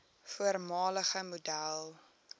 voormalige model